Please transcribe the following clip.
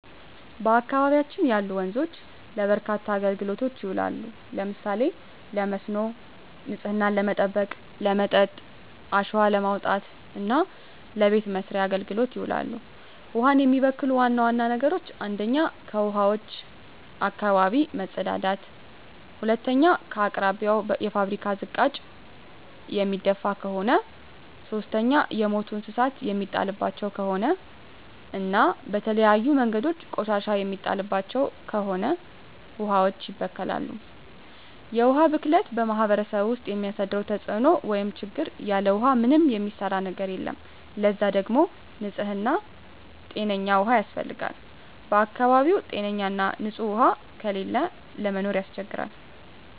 በአካባቢያችን ያሉ ወንዞች ለበርካታ አገልግሎቶች ይውላሉ። ለምሳሌ ለመስኖ፣ ንጽህናን ለመጠበቅ፣ ለመጠጥ፣ አሸዋ ለማውጣት እና ለበቤት መሥርያ አገልግሎት ይውላሉ። ውሀን የሚበክሉ ዋና ዋና ነገሮች 1ኛ ከውሀዋች አካባቢ መጸዳዳት መጸዳዳት 2ኛ በአቅራቢያው የፋብሪካ ዝቃጭ የሚደፍ ከሆነ ከሆነ 3ኛ የሞቱ እንስሳት የሚጣልባቸው ከሆነ እና በተለያዩ መንገዶች ቆሻሻ የሚጣልባቸው ከሆነ ውሀዋች ይበከላሉ። የውሀ ብክለት በማህረሰቡ ውስጥ የሚያደርሰው ተጽዕኖ (ችግር) ያለ ውሃ ምንም የሚሰራ ነገር የለም ለዛ ደግሞ ንጽህና ጤነኛ ውሃ ያስፈልጋል በአካባቢው ጤነኛ ና ንጽህ ውሃ ከሌለ ለመኖር ያስቸግራል።